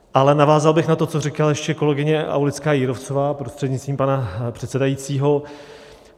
Ale navázal bych na to, co říkala ještě kolegyně Aulická Jírovcová, prostřednictvím pana předsedajícího.